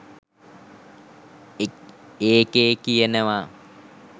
ඒකේ කියනවා